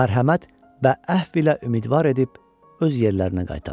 Mərhəmət və əhfi ilə ümidvar edib öz yerlərinə qaytardı.